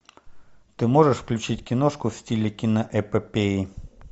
ты можешь включить киношку в стиле киноэпопеи